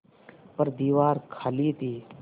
पर दीवार खाली थी